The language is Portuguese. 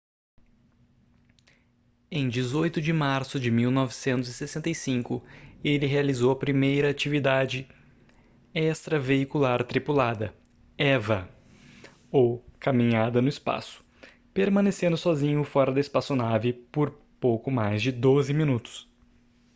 em 18 de março de 1965 ele realizou a primeira atividade extraveicular tripulada eva ou caminhada no espaço permanecendo sozinho fora da espaçonave por pouco mais de doze minutos